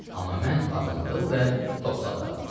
Amma mən ağamtılım və topsaqqalım.